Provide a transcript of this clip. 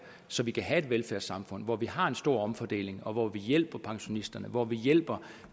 så vi kan have et velfærdssamfund hvor vi har en stor omfordeling hvor vi hjælper pensionisterne hvor vi hjælper